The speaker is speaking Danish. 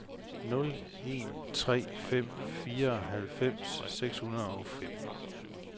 nul en tre fem fireoghalvfems seks hundrede og fem